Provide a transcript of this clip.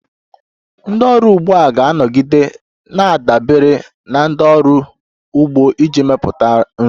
Ndị ọrụ ugbo ga-anọgide na-adabere na ndị ọrụ ugbo iji mepụta nri.